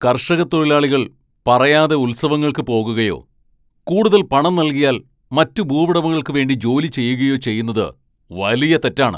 കർഷക തൊഴിലാളികൾ പറയാതെ ഉത്സവങ്ങൾക്ക് പോകുകയോ, കൂടുതൽ പണം നൽകിയാൽ മറ്റ് ഭൂവുടമകൾക്ക് വേണ്ടി ജോലി ചെയ്യുകയോ ചെയ്യുന്നത് വലിയ തെറ്റാണ്.